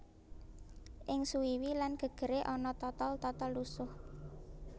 Ing suwiwi lan gegere ana totol totol lusuh